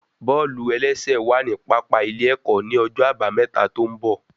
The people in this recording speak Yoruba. Bọ́ọ̀lù-ẹlẹ́sẹ̀ wà ní pápá ilé ẹ̀kọ́ ní ọjọ́ àbámẹ́ta tó ń bọ̀